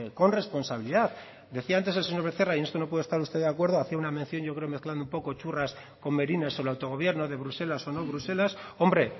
con responsabilidad decía antes el señor becerra y en esto no puede estar usted de acuerdo hace una mención yo creo mesclando un poco churras con merinas el autogobierno de bruselas o no bruselas hombre